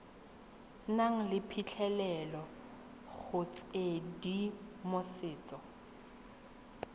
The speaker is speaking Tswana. nang le phitlhelelo go tshedimosetso